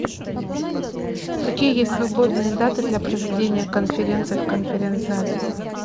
какие есть свободные даты для проведения конференции в конференц зале